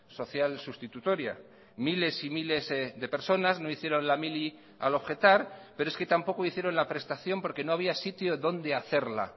social sustitutoria miles y miles de personas no hicieron la mili al objetar pero es que tampoco hicieron la prestación porque no había sitio donde hacerla